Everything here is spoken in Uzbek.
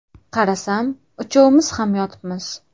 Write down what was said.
Qarasam uchovimiz ham yotibmiz.